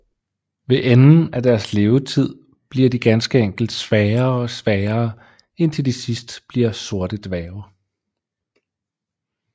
Ved enden af deres levetid bliver de ganske enkelt svagere og svagere indtil de til sidst bliver sorte dværge